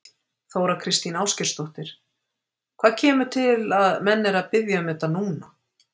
Þóra Kristín Ásgeirsdóttir: Hvað kemur til að menn eru að biðja um þetta núna?